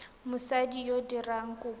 mosadi yo o dirang kopo